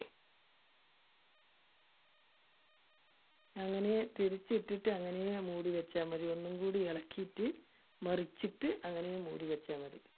അങ്ങനെ തിരിച്ച് ഇട്ടിട്ട് അങ്ങനെ മുടി വെച്ചാ മതി, ഒന്നും കൂടി ഇളക്കിയിട്ട് മറിച്ചിട്ട് അങ്ങനെ മൂടി വെച്ചാ മതി.